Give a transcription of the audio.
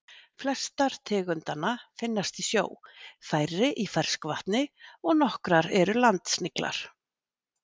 Flestar tegundanna finnast í sjó, færri í ferskvatni og nokkrar eru landsniglar.